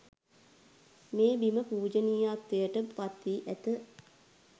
මේ බිම පූජනීයත්වයට පත්වී ඇත.